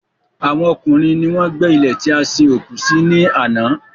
Àwọn ọkùnrin ni wọ́n gbé ilè tí a sin òkú sí ní àná